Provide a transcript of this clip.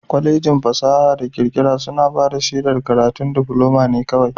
Kwalejin fasaha da kirkira suna bada shedar karatun difuloma ne kawai.